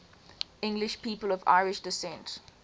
english people of irish descent